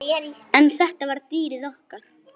En þetta var dýrið okkar.